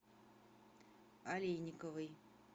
олейниковой